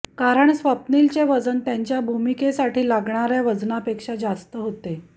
कारण स्वप्नीलचे वजन त्यांच्या भूमिकेसाठी लागणाऱ्या वजनापेक्षा जास्त होते